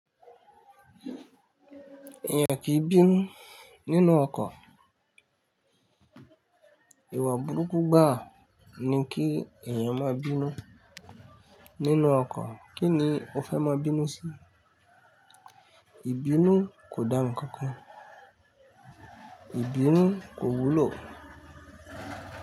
Èèyàn kì í bínú nínú ọkọ̀. Ìwà burúkú gbàá ni kí èèyàn má bínú nínú ọkọ̀. Kíni o fẹ́ má bínú sí? Ìbínú kò dá nǹkan kan, Ìbínú kò wúlò.